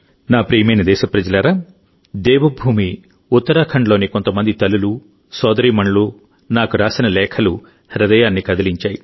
నా ప్రియమైన దేశప్రజలారాదేవభూమి ఉత్తరాఖండ్లోని కొంతమంది తల్లులు సోదరీమణులు నాకు రాసిన లేఖలు హృదయాన్ని కదిలించాయి